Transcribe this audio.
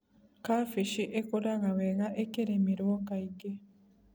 Kabeci ĩkũraga wega ĩkĩrĩmĩrwo kaingĩ.